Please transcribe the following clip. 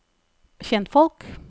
kjentfolk